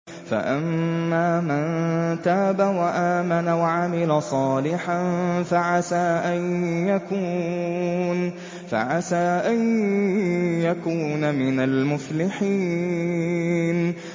فَأَمَّا مَن تَابَ وَآمَنَ وَعَمِلَ صَالِحًا فَعَسَىٰ أَن يَكُونَ مِنَ الْمُفْلِحِينَ